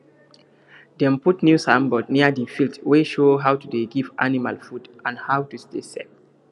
dem put new signboard near the field wey show how to dey give animal food and how to stay safe